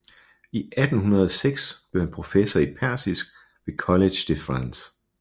I 1806 blev han professor i persisk ved Collège de France